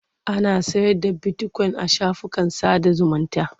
Ana sayar da bitikoyin a shafukan sada zumunta.